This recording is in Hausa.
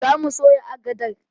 Zamu soya agadar